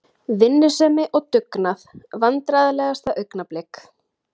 Vinnusemi og dugnað Vandræðalegasta augnablik?